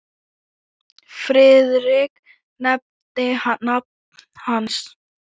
Friðrik nefndi nafn hans.